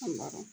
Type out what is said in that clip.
An b'a dɔn